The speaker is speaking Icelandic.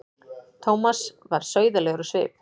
Thomas varð sauðalegur á svip.